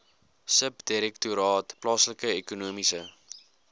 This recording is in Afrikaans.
subdirektoraat plaaslike ekonomiese